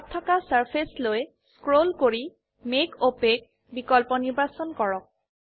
তলত থকা চাৰ্ফেচেছ লৈ স্ক্ৰোল কৰি মেক অপাক বিকল্প নিৰ্বাচন কৰক